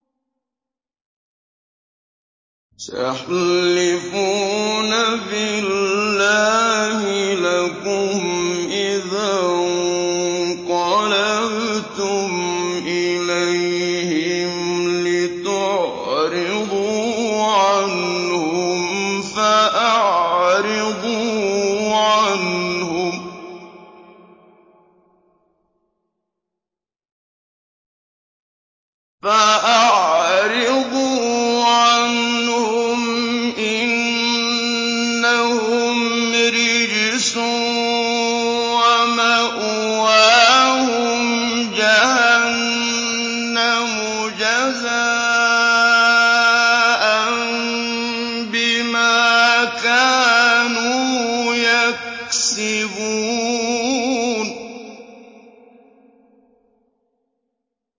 سَيَحْلِفُونَ بِاللَّهِ لَكُمْ إِذَا انقَلَبْتُمْ إِلَيْهِمْ لِتُعْرِضُوا عَنْهُمْ ۖ فَأَعْرِضُوا عَنْهُمْ ۖ إِنَّهُمْ رِجْسٌ ۖ وَمَأْوَاهُمْ جَهَنَّمُ جَزَاءً بِمَا كَانُوا يَكْسِبُونَ